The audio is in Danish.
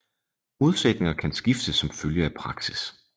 Modsætninger kan skifte som følge af praksis